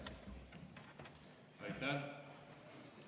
Aitäh!